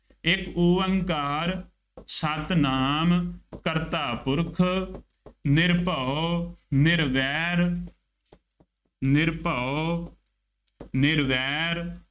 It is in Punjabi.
ਇੱਕ ਉਅੰਕਾਰ ਸਤਿਨਾਮ ਕਰਤਾ ਪੁਰਖੁ ਨਿਰਭਉ ਨਿਰਵੈਰੁ ਨਿਰਭਉ ਨਿਰਵੈਰੁ